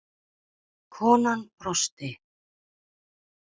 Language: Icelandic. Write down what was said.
Konan brosti.